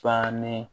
Bannen